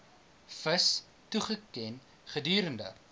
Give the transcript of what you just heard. vis toegeken gedurende